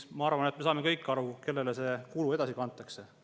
Ma arvan, et me saame kõik aru, kellele see kulu edasi kantakse.